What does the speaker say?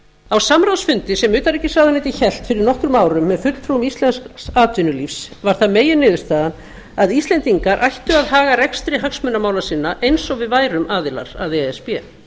á samráðsfundi sem utanríkisráðuneytið hélt fyrir nokkrum árum með fulltrúum íslensks atvinnulífs var það meginniðurstaðan að íslendingar ættu að haga rekstri hagsmunamála sinna eins og við værum aðilar að e s b